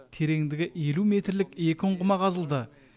тереңдігі елу метрлік екі ұңғыма қазылды